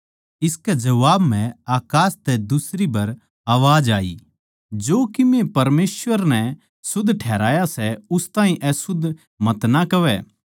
इसकै जबाब म्ह अकास तै दुसरी बर अवाज होई जो कीमे परमेसवर नै शुद्ध कर दिया सै उस ताहीं अशुध्द मतना कहवै